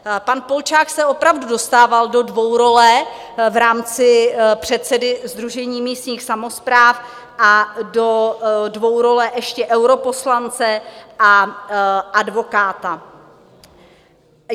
Pan Polčák se opravdu dostával do dvourole v rámci předsedy Sdružení místních samospráv a do dvourole ještě europoslance a advokáta.